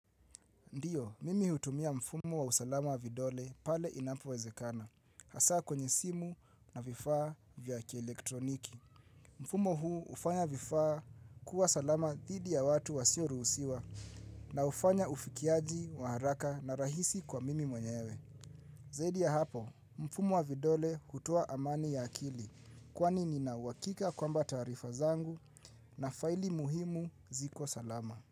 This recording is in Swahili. Ndiyo, mimi hutumia mfumo wa usalama vidole pale inapowezekana, hasa kwenye simu na vifaa vya elektroniki. Mfumo huu hufanya vifaa kuwa salama dhidi ya watu wasioruhusiwa na hufanya ufikiaji, waharaka na rahisi kwa mimi mwenyewe. Zaidi ya hapo, mfumo wa vidole hutuo amani ya akili kwani nina wakika kwamba taarifa zangu na faili muhimu ziko salama.